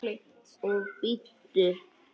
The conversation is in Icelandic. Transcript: Og bíddu.